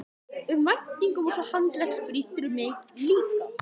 um væntingum og svo handleggsbrýturðu mig líka.